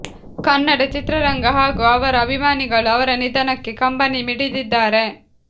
ಕನ್ನಡ ಚಿತ್ರರಂಗ ಹಾಗೂ ಅವರ ಅಭಿಮಾನಿಗಳು ಅವರ ನಿಧನಕ್ಕೆ ಕಂಬನಿ ಮಿಡಿದಿದ್ದಾರೆ